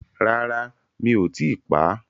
Rárá mi ò tíi pá,